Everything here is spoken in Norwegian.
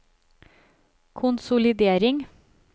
konsolidering